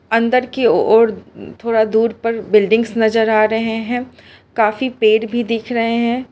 अंदर की ओर थोड़ा दूर पर बिल्डिंग नजर आ रहे हैं काफी पेड़ भी दिख रहे हैं।